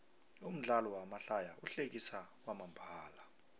umdlalo wamahlaya uhlekisa kwamambala